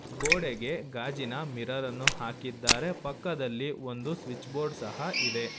ಗೋಡೆಗೆ ಗಾಜಿನ ಮಿರರ ನ್ನು ಹಾಕಿದ್ದಾರೆ ಪಕ್ಕದಲ್ಲಿ ಒಂದು ಸ್ವಿಚ್ ಬೋರ್ಡ್ ಸಹ ಇದೆ.